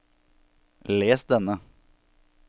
les denne